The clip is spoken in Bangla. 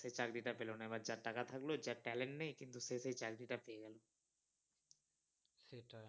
সে চাকরিটা পেল না এবার যার টাকা থাকলো যার talent নেই কিন্তু সে সেই চাকরি টা পেয়ে গেলো ।